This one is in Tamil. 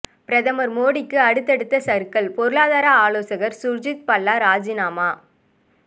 பிரதமர் மோடிக்கு அடுத்தடுத்த சறுக்கல் பொருளாதார ஆலோசகர் சுர்ஜித் பல்லா ராஜினாமா